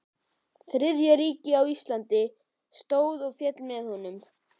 Þriðja ríkisins á Íslandi stóð og féll með honum.